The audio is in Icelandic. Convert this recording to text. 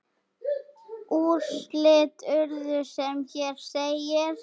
Úrslit urðu sem hér segir